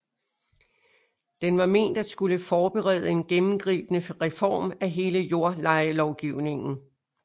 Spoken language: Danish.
Den var ment at skulle forberede en gennemgribende reform af hele jordlejelovgivningen